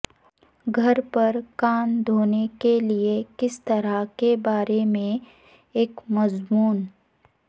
گھر پر کان دھونے کے لئے کس طرح کے بارے میں ایک مضمون